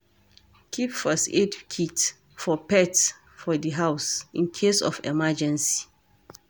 Keep first aid kit for pet for di house in case of emergency